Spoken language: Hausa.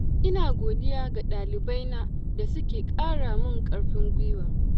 ina godiya ga ɗalibaina da suke ƙara min ƙarfin guiwa